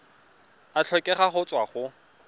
a tlhokega go tswa go